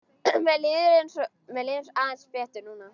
Mér líður aðeins betur núna.